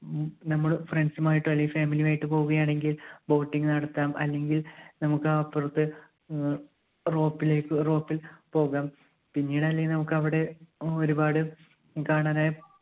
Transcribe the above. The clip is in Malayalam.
ഉം നമ്മള് friends ഉം ആയിട്ടോ അല്ലെങ്കിൽ family യും ആയിട്ട് പോവുകയാണെങ്കിൽ boating നടത്താം അല്ലെങ്കിൽ നമുക്ക് അപ്പുറത്ത് അഹ് rope ലേയ്ക്ക് rope ൽ പോകാം. പിന്നീട് അല്ലെങ്കിൽ നമുക്ക് അവിടെ അഹ് ഒരുപാട് കാണാനായി